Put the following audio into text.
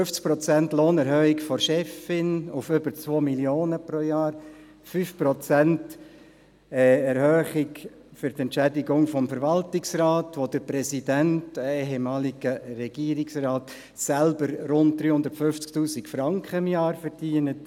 50 Prozent Lohnerhöhung für die Chefin auf über 2 Mio. Franken pro Jahr, 5 Prozent mehr Entschädigung für den Verwaltungsrat, wobei der Präsident, ein ehemaliger Regierungsrat, selbst rund 350 000 Franken kassiert;